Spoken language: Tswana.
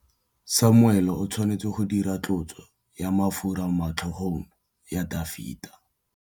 Samuele o tshwanetse go dirisa tlotsô ya mafura motlhôgong ya Dafita.